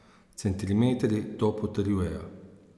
Centimetri to potrjujejo.